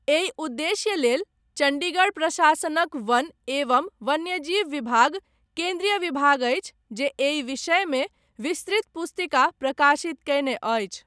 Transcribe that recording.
एहि उद्देश्य लेल चण्डीगढ़ प्रशासनक वन एवं वन्यजीव विभाग केन्द्रीय विभाग अछि जे एहि विषयमे विस्तृत पुस्तिका प्रकाशित कयने अछि।